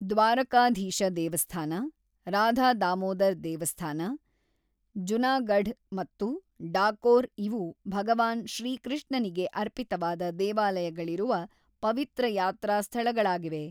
ದ್ವಾರಕಾಧೀಶ ದೇವಸ್ಥಾನ, ರಾಧಾ ದಾಮೋದರ್ ದೇವಸ್ಥಾನ, ಜುನಾಗಢ್ ಮತ್ತು ಡಾಕೋರ್ ಇವು ಭಗವಾನ್ ಶ್ರೀಕೃಷ್ಣನಿಗೆ ಅರ್ಪಿತವಾದ ದೇವಾಲಯಗಳಿರುವ ಪವಿತ್ರ ಯಾತ್ರಾಸ್ಥಳಗಳಾಗಿವೆ.